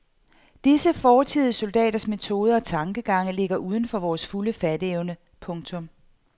Disse fortidige soldaters metoder og tankegange ligger uden for vores fulde fatteevne. punktum